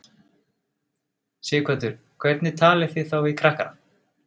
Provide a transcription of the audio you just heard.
Sighvatur: Hvernig talið þið þá við krakkana?